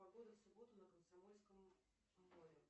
погода в субботу на комсомольском море